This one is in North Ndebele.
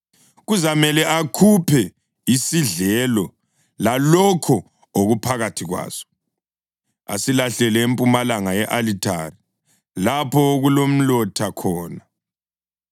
Kuzamele akhuphe isidlelo lalokho okuphakathi kwaso, asilahlele empumalanga ye-alithare, lapho okulomlotha khona.